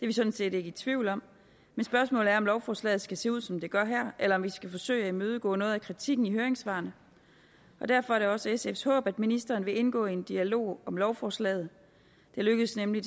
vi sådan set ikke i tvivl om men spørgsmålet er om lovforslaget skal se ud som det gør her eller om vi skal forsøge at imødegå noget af kritikken i høringssvarene og derfor er det også sfs håb at ministeren vil indgå i en dialog om lovforslaget det lykkedes nemlig